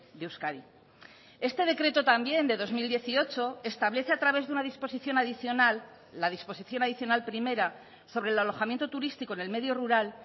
de euskadi este decreto también de dos mil dieciocho establece a través de una disposición adicional la disposición adicional primera sobre el alojamiento turístico en el medio rural